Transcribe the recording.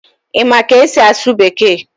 Ị ma ka esi asụ Bekee?